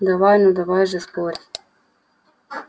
давай ну давай же спорь